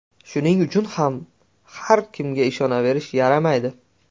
Shuning uchun ham, har kimga ishonaverish yaramaydi.